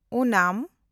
ᱳᱱᱟᱢ